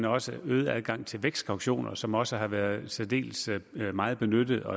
også en øget adgang til vækstkautioner som også har været særdeles meget benyttet og